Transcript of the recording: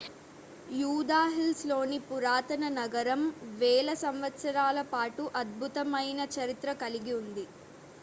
యూదా హిల్స్ లోని పురాతన నగరం వేల సంవత్సరాల పాటు అద్భుతమైన చరిత్ర కలిగి ఉంది